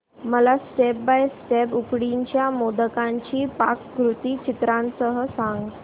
मला step by step उकडीच्या मोदकांची पाककृती चित्रांसह सांग